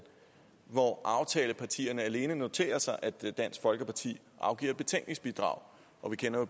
hvor aftalepartierne alene noterer sig at dansk folkeparti afgiver betænkningsbidrag og vi kender jo